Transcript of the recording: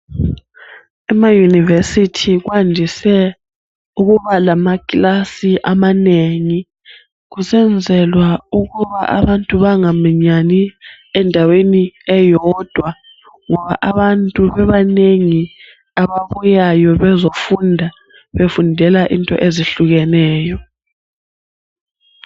Emauniversity kwandise ukuba lamakilasi amanengi kusenzelwa ukuba abantu bangaminyani endaweni eyodwa ngoba abantu bebanengi ababuyayo bezofunda befundela into ezihlukeneyo